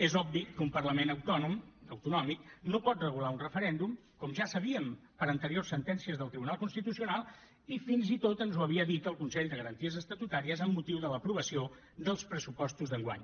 és obvi que un parlament autònom autonòmic no pot regular un referèndum com ja sabíem per anteriors sentències del tribunal constitucional i fins i tot ens ho havia dit el consell de garanties estatutàries amb motiu de l’aprovació dels pressupostos d’enguany